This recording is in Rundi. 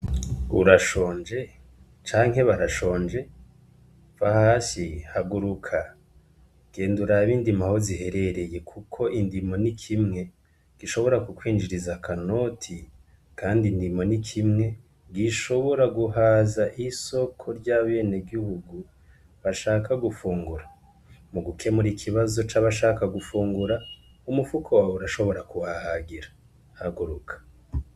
Urashonje canke barashonje va hasi haguruka genda urabe indimo aho ziherereye, kuko indimo ni kimwe gishobora kukwinjiriza akanoti, kandi indimo ni kimwe gishobora guhaza isoko ry'abenegihugu bashaka gufungura mu gukemura ikibazo c'abashaka gufungura umufuko wawe urashobora kuhahagira haguruka.